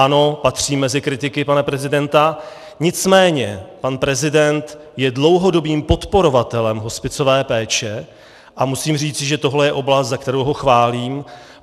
Ano, patřím mezi kritiky pana prezidenta, nicméně pan prezident je dlouhodobým podporovatelem hospicové péče a musím říci, že tohle je oblast, za kterou ho chválím.